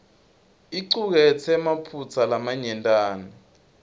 icuketse emaphutsa lamanyentana